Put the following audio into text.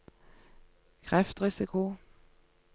kreftrisiko